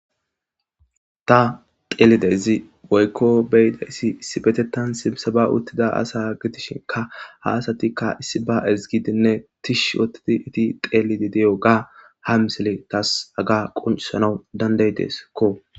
ta xeelidezi woykko beyidayssi issi betetan simsaba uttida asa gitishinka haasatikka issi ba ezgidinne tish woottidi iti xeelidi deyo ga ha misele taas aga quncisanau danday deskko